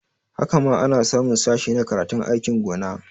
Haka ma ana samun sashe na karatun aikin gona